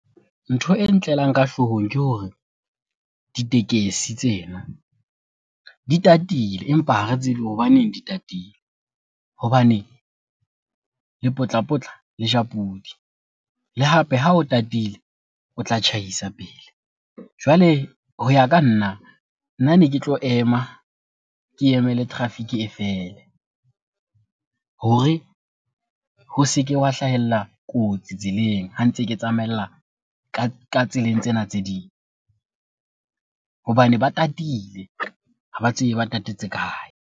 Ntho e ntlelang ka hloohong ke hore ditekesi tsena di tatile empa ha re tsebe hobaneng di tatile. Hobane lepotlapotla le ja pudi, le hape ha o tatile o tla tjhaisa pele. Jwale ho ya ka nna, nna ne ke tlo ema ke emele traffic e fele hore ho se ke hwa hlahella kotsi tseleng ha ntse ke tsamaella ka tseleng tsena tse ding. Hobane ba tatile, ha ba tsebe ba tatetse kae?